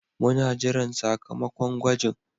Muna jiran sakamakon gwajin.